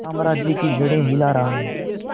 साम्राज्य की जड़ें हिला रहा हूं